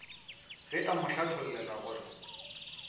ge a mo hlathollela gore